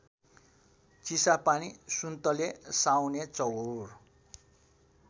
Chisapani Suntale Saunechaur